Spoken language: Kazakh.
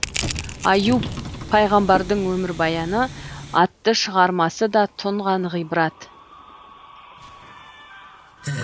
аюп пайғамбардың өмірбаяны атты шығармасы да тұнған ғибрат